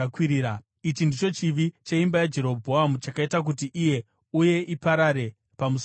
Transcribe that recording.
Ichi ndicho chivi cheimba yaJerobhoamu chakaita kuti iwe uye iparare pamusoro penyika.